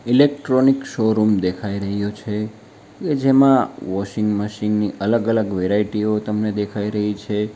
Electronic showroom દેખાઈ રહ્યો છે કે જેમાં વોશિંગ મશીન ની અલગ અલગ વેરાઈટીઓ તમને દેખાઈ રહી છે.